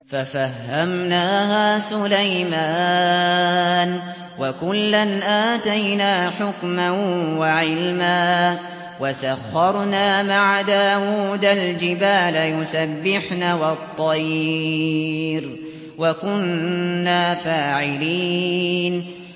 فَفَهَّمْنَاهَا سُلَيْمَانَ ۚ وَكُلًّا آتَيْنَا حُكْمًا وَعِلْمًا ۚ وَسَخَّرْنَا مَعَ دَاوُودَ الْجِبَالَ يُسَبِّحْنَ وَالطَّيْرَ ۚ وَكُنَّا فَاعِلِينَ